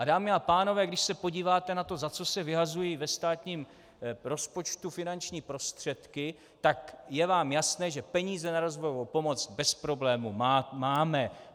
A dámy a pánové, když se podíváte na to, za co se vyhazují ve státním rozpočtu finanční prostředky, tak je vám jasné, že peníze na rozvojovou pomoc bez problémů máme.